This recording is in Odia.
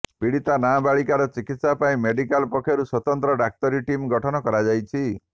ପୀଡ଼ିତା ନାବାଳିକାର ଚିକିତ୍ସା ପାଇଁ ମେଡିକାଲ୍ ପକ୍ଷରୁ ସ୍ୱତନ୍ତ୍ର ଡାକ୍ତରୀ ଟିମ୍ ଗଠନ କରାଯାଇଛି